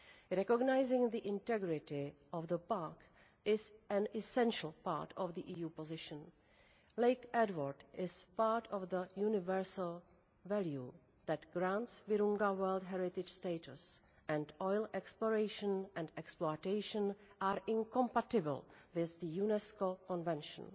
Recognising the integrity of the park is an essential part of the EU position Lake Edward is part of the universal value' that grants Virunga World Heritage status, and oil exploration and exploitation are incompatible with the UNESCO Convention.